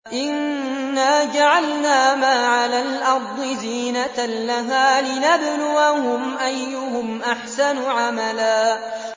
إِنَّا جَعَلْنَا مَا عَلَى الْأَرْضِ زِينَةً لَّهَا لِنَبْلُوَهُمْ أَيُّهُمْ أَحْسَنُ عَمَلًا